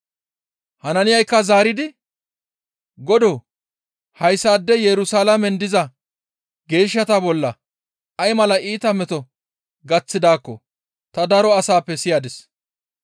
Hanaaniyaykka zaaridi, «Godoo! Hayssaadey Yerusalaamen diza geeshshata bolla ay mala iita meto gaththidaakko ta daro asappe siyadis.